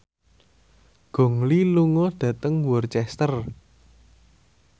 Gong Li lunga dhateng Worcester